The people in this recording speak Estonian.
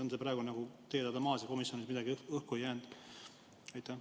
On see praegu n-ö teie laualt maas ja komisjonis midagi õhku ei jäänud?